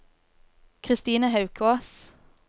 Kristine Haukås